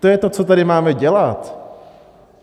To je to, co tady máme dělat.